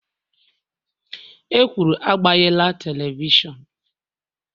E kwuru, agbanyela telivishọn!l